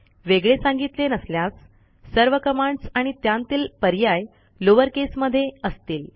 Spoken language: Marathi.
वेगळे सांगितले नसल्यास सर्व कमांडस आणि त्यांतील पर्याय लोअर केस मध्ये असतील